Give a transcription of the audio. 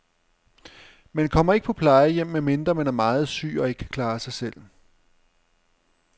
Man kommer ikke på plejehjem, medmindre man er meget syg og ikke kan klare sig selv.